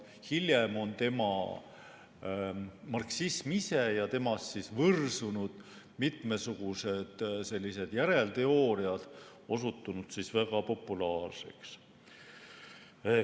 Hiljem on marksism ise ja temast võrsunud mitmesugused järelteooriad osutunud väga populaarseks.